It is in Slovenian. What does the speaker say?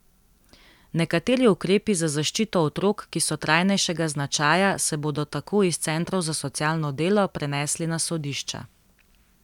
Nekateri ukrepi za zaščito otrok, ki so trajnejšega značaja, se bodo tako iz centrov za socialno delo prenesli na sodišča.